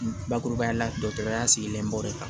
Bakurubaya la dɔkɔtɔrɔya sigilen b'o de kan